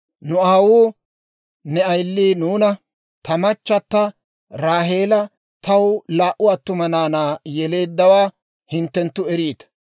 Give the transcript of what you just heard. «Nu aawuu ne ayili nuuna, ‹Ta machata Raaheela taw laa"u attuma naanaa yeleeddawaa hinttenttu eriita;